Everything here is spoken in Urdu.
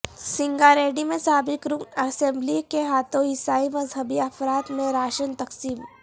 سنگاریڈی میں سابق رکن اسمبلی کے ہاتھوں عیسائی مذہبی افراد میں راشن تقسیم